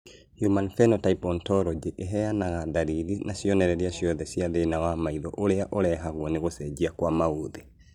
Human Phenotype Ontology ĩheanaga ndariri na cionereria ciothe cia thĩna wa maitho ũrĩa ũrehagwo nĩ gũcenjia kwa maũthĩ